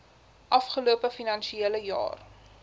afgelope finansiële jaar